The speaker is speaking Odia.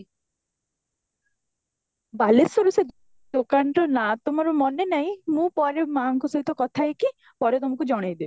ବାଲେଶ୍ଵରୁ ସେ ଦୋକାନ ର ନାଁ ତ ମୋର ମନେ ନାହିଁ ମୁଁ ପରେ ମୁଁ ମାଙ୍କ ସହିତ କଥା ହେଇକି ପରେ ତମକୁ ଜଣେଇ ଦେବୀ